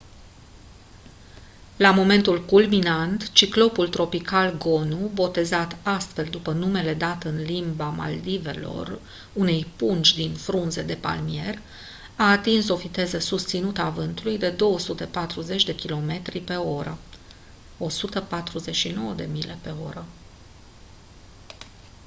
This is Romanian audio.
la momentul culminant ciclonul tropical gonu botezat astfel după numele dat în limba maldivelor unei pungi din frunze de palmier a atins o viteză susținută a vântului de 240 de kilometri pe oră 149 de mile pe oră